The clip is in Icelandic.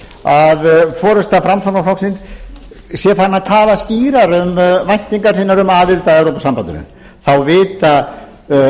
að forusta framsóknarflokksins sé farin að tala skýrar um væntingar sínar um aðild að evrópusambandinu þá vita